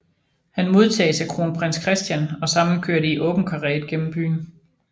Han modtages af kronprins Christian og sammen kører de i åben karet gennem byen